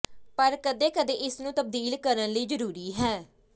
ਪਰ ਕਦੇ ਕਦੇ ਇਸ ਨੂੰ ਤਬਦੀਲ ਕਰਨ ਲਈ ਜ਼ਰੂਰੀ ਹੈ